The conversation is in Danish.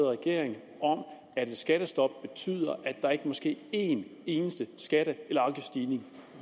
regering om at et skattestop betyder at der ikke må ske én eneste skatte eller afgiftsstigning